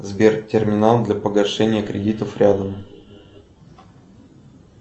сбер терминал для погашения кредитов рядом